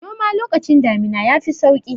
Noms lokacin damina ya fi sauƙi.